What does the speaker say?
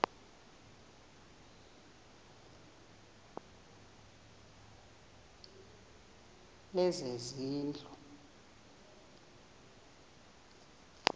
lezezindlu